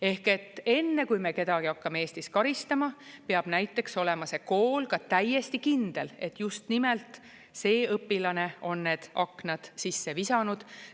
Ehk enne, kui me kedagi hakkame Eestis karistama, peab näiteks olema see kool ka täiesti kindel, et just nimelt see õpilane on need aknad sisse visanud.